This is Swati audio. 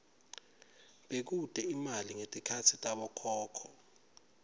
bekute imali ngetikhatsi tabokhokho